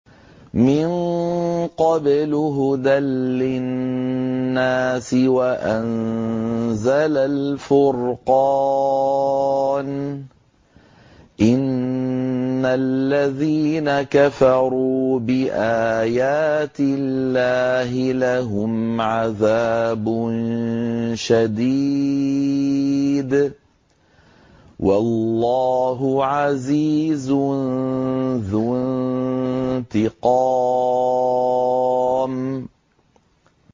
مِن قَبْلُ هُدًى لِّلنَّاسِ وَأَنزَلَ الْفُرْقَانَ ۗ إِنَّ الَّذِينَ كَفَرُوا بِآيَاتِ اللَّهِ لَهُمْ عَذَابٌ شَدِيدٌ ۗ وَاللَّهُ عَزِيزٌ ذُو انتِقَامٍ